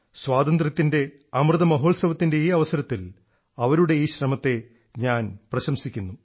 സ്വാതന്ത്ര്യത്തിൻറെ അമൃതമഹോത്സവത്തിൻറെ ഈ അവസരത്തിൽ അവരുടെ ഈ ശ്രമത്തെ ഞാൻ പ്രശംസിക്കുന്നു